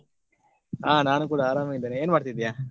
ಹ ನಾನು ಕೂಡ ಆರಾಮ ಇದ್ದೇನೆ ಏನ್ ಮಾಡ್ತಾ ಇದ್ದೀಯಾ?